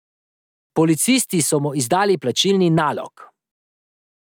Policisti so mu izdali plačilni nalog.